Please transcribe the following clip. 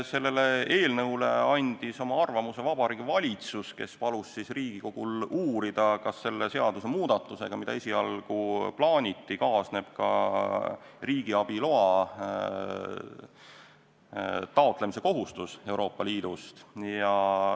Selle eelnõu kohta andis oma arvamuse Vabariigi Valitsus, kes palus Riigikogul uurida, kas selle seadusemuudatusega, mida esialgu plaaniti, kaasneb ka riigiabi loa taotlemise kohustus Euroopa Liidust.